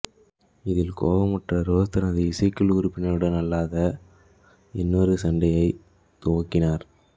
இதில் கோபமுற்ற ரோஸ் தனது இசைக்குழு உறுப்பினர்களுடன் அல்லாத இன்னொரு சண்டையைத் துவக்கினார்